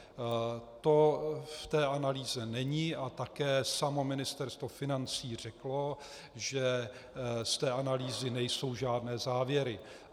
To v té analýze není a také samo Ministerstvo financí řeklo, že z té analýzy nejsou žádné závěry.